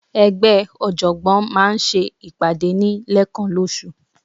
Ẹgbẹ́ ọ̀jọ̀gbọ́n maa n se ipade ni lekan losu